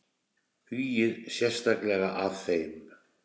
Hugið sérstaklega að þeim.